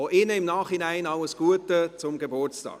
Auch ihnen im Nachhinein alles Gute zum Geburtstag.